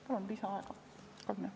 Palun lisaaega kolm minutit!